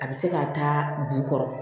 A bɛ se ka taa jukɔrɔ